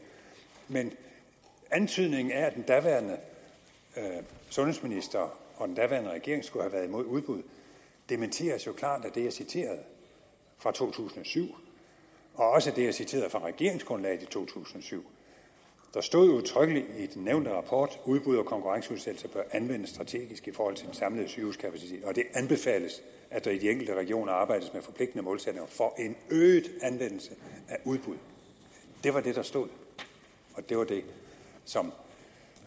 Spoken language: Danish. men antydningen af at den daværende sundhedsminister og den daværende regering skulle have været imod udbud dementeres jo klart af det jeg citerede fra to tusind og syv og også af det jeg citerede fra regeringsgrundlaget i to tusind og syv der stod udtrykkeligt i den nævnte rapport udbud og konkurrenceudsættelse bør anvendes strategisk i forhold til den samlede sygehuskapacitet og det anbefales at der i de enkelte regioner arbejdes med forpligtende målsætninger for en øget anvendelse af udbud det var det der stod og det var det som